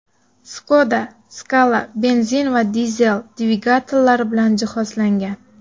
Skoda Scala benzin va dizel dvigatellari bilan jihozlangan.